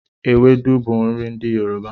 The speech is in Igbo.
Ewepu bú nri ndi Yoruba